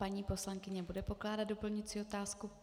Paní poslankyně bude pokládat doplňující otázku.